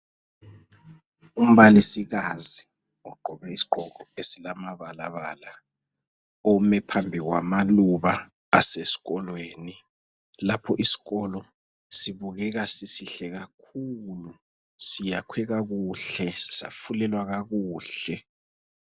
Umbalisikazi ogqoke isigqoko esilamabalabala ome phambi kwamaluba asesikolweni. Lapho isikolo sibukeka sisihle kakhulu, siyakhwe kakuhle safulelwa kakuhle.